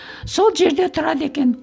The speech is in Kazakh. сол жерде тұрады екен